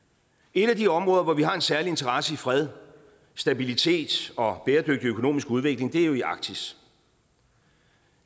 et af de områder hvor vi har en særlig interesse i fred stabilitet og bæredygtig økonomisk udvikling er jo arktis